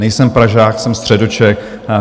Nejsem Pražák, jsem Středočech.